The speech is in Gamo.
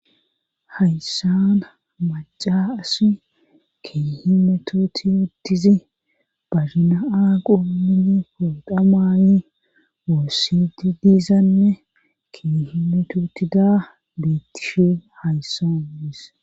Hayssana maca asi kihimetooti wuddizi bazinaa qumini fodhamaani woossidi diizanne kihimetootida beettishee hayssa nuudis